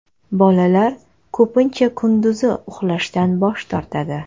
Bolalar ko‘pincha kunduzi uxlashdan bosh tortadi.